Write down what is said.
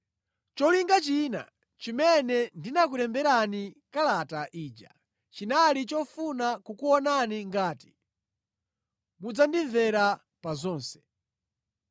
Cholinga china chimene ndinakulemberani kalata ija chinali chofuna kukuonani ngati mudzandimvera pa zonse.